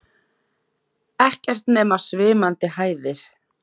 Ekkert nema svimandi hæðir.